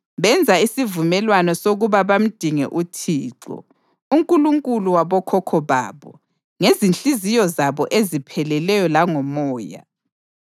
Benza isivumelwano sokuba bamdinge uThixo, uNkulunkulu wabokhokho babo, ngezinhliziyo zabo ezipheleleyo langomoya.